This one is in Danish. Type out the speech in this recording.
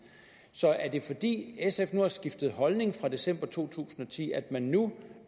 så er det fordi sf har skiftet holdning fra december to tusind og ti at man nu